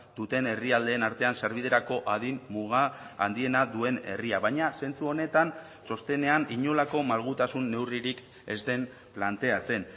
duten herrialdeen artean sarbiderako adin muga handiena duen herria baina zentzu honetan txostenean inolako malgutasun neurririk ez den planteatzen